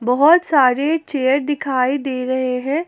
बहुत सारे चेयर दिखाई दे रहे हैं।